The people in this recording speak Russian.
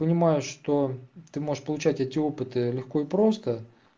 понимаю что ты можешь получать эти опыты легко и просто